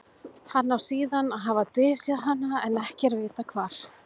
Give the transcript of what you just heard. hann á síðan að hafa dysjað hana en ekki er vitað hvar